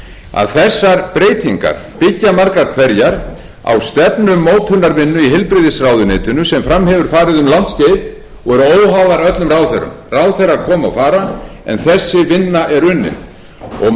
að þessar breytingar byggja margar hverjar á stefnumótunarvinnu í heilbrigðisráðuneytinu sem fram hefur farið um langt skeið og eru óháðar öllum ráðherrum ráðherrar koma og fara en þessi vinna er unnin og margt í